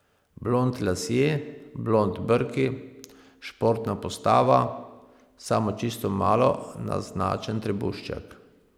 Blond lasje, blond brki, športna postava, samo čisto malo naznačen trebušček.